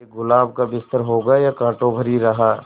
ये गुलाब का बिस्तर होगा या कांटों भरी राह